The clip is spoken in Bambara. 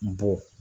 N bɔ